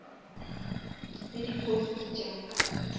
le di posts tša ka